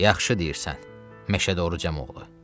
Yaxşı deyirsən, Məşədə Orruc Cəmoğlu.